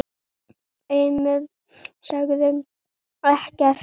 Emil sagði ekkert.